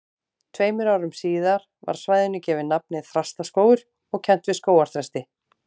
Tveimur árum síðar var svæðinu gefið nafnið Þrastaskógur og kennt við skógarþresti.